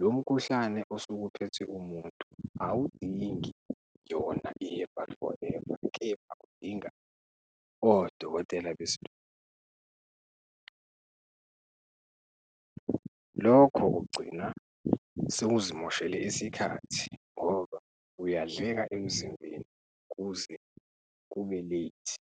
lo mkhuhlane osuke uphethe umuntu awudingi yona i-herbal forever, kepha udinga odokotela . Lokho ugcina sewuzimoshele isikhathi ngoba uyadleka emzimbeni kuze kube late.